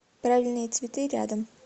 правильные цветы рядом